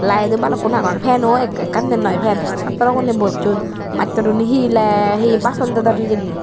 laed do balukkun agon fano ekkan den noi fan chatraguney bosson mattwruney hi le hi bason dedon hijeni.